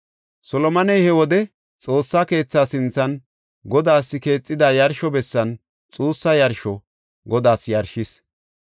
Solomoney he wode Xoossa keethaa sinthan Godaas keexida yarsho bessan xuussa yarsho Godaas yarshis.